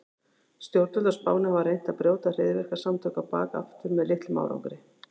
Stjórnvöld á Spáni hafa reynt að brjóta hryðjuverkasamtökin á bak aftur með litlum árangri.